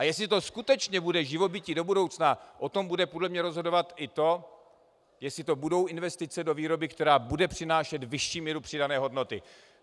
A jestli to skutečně bude živobytí do budoucna, o tom bude podle mě rozhodovat i to, jestli to budou investice do výroby, která bude přinášet vyšší míru přidané hodnoty.